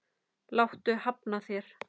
Láttu hafna þér.